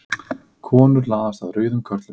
Konur laðast að rauðum körlum